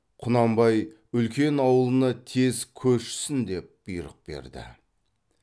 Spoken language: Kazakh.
құнанбай үлкен аулына тез көшсін деп бұйрық берді